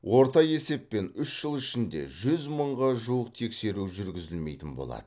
орта есеппен үш жыл ішінде жүз мыңға жуық тексеру жүргізілмейтін болады